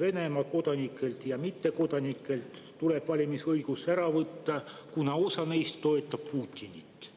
Venemaa kodanikelt ja mittekodanikelt tuleb valimisõigus ära võtta, kuna osa neist toetab Putinit.